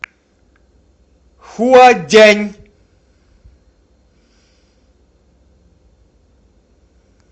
хуадянь